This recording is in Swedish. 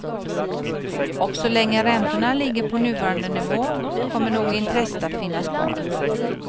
Och så länge räntorna ligger på nuvarande nivå kommer nog intresset att finnas kvar.